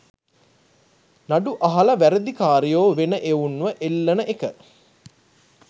නඩු අහල වැරදි කාරයෝ වෙන එවුන්ව එල්ලන එක